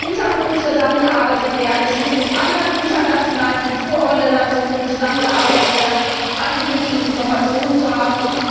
Es muss mit Interpol zusammengearbeitet werden, es muss mit anderen internationalen Kulturorganisationen zusammengearbeitet werden, um alle nötigen Informationen zu haben.